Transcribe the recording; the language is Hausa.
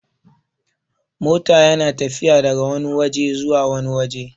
mota yana tafiya daga Wani waje zuwa wani waje